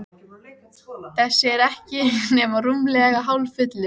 Allt frá stofnun hefur sambandið unnið ötullega að hagsmunamálum fatlaðra.